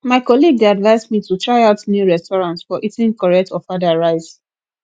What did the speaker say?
my colleague dey advise me to try out new restaurant for eating correct ofada rice